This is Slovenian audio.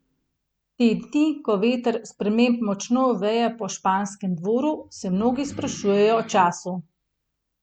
Te dni, ko veter sprememb močno veje po španskem dvoru, se mnogi sprašujejo o času.